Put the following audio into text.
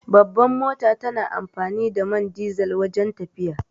Babbar mota tana amfani da man dizal wajen tafiya